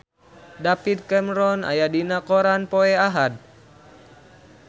David Cameron aya dina koran poe Ahad